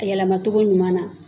A yɛlɛmacogo ɲuman na.